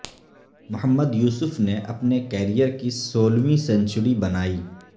محمد یوسف نے اپنے کیرئر کی سولہویں سنچری بنائی